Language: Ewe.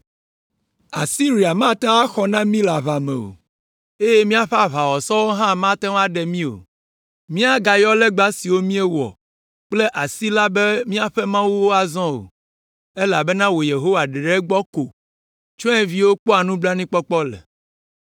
Asiria mate ŋu axɔ na mí le aʋa me o, eye míaƒe aʋawɔsɔwo hã mate ŋu aɖe mí o; míagayɔ legba siwo míewɔ kple asi la be míaƒe mawuwo azɔ o, elabena wò Yehowa ɖeɖe gbɔ ko tsyɔ̃eviwo kpɔa nublanuikpɔkpɔ le.”